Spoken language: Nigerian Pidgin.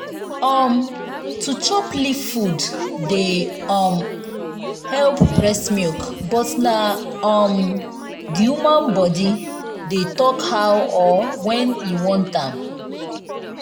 um to chop leaf food dey um help breast milk but na um d woman body dey talk how or wen e want am.